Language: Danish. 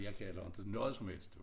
Jeg kan heller ikke noget som helst